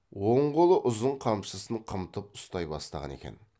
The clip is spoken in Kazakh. оң қолы ұзын қамшысын қымтып ұстай бастаған екен